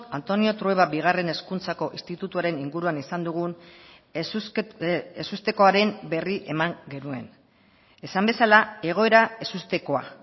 antonio trueba bigarren hezkuntzako institutuaren inguruan izan dugun ezustekoaren berri eman genuen esan bezala egoera ezustekoa